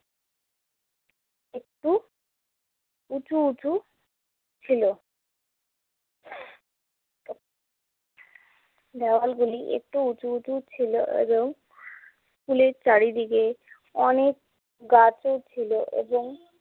একটু উঁচু উঁচু ছিলো। ওয়ালগুলি একটু উঁচু উঁচু ছিলো এবং স্কুলের চারিদিকে অনেক গাছও ছিলো এবং